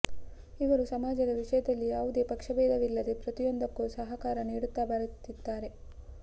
ಇವರು ಸಮಾಜದ ವಿಷಯದಲ್ಲಿ ಯಾವುದೇ ಪಕ್ಷ ಭೇದವಿಲ್ಲದೆ ಪ್ರತಿಯೊಂದಕ್ಕೂ ಸಹಕಾರ ನೀಡುತ್ತ ಬರುತ್ತಿದ್ದಾರೆ